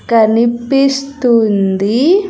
కనిపిస్తుంది.